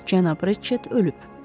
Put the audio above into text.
Cənab Retçet ölüb.